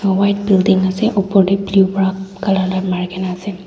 white building asey opor deh blue wra colour marigina asey.